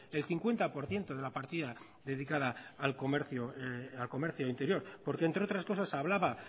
de cincuenta por ciento de la partida dedicada al comercio interior porque entre otras cosas hablaba